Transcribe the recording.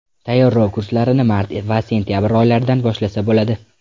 Tayyorlov kurslarini mart va sentabr oylaridan boshlasa bo‘ladi.